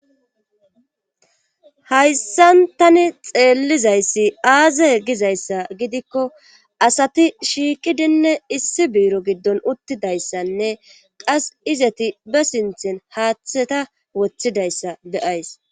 hayssan tani xeellizayssi aaze gizayssa gidikko asati shiiqidinne issi buiro giddon uttidayssanne qas izati ba sinthin haaththeta wothidayssa beyays